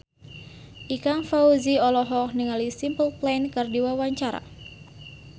Ikang Fawzi olohok ningali Simple Plan keur diwawancara